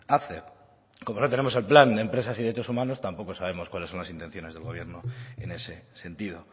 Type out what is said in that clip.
hace como no tenemos el plan de empresas y derechos humanos tampoco sabemos cuáles son las intenciones del gobierno en ese sentido